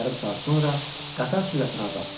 Yarım saat sonra qatar sürətini azaltdı.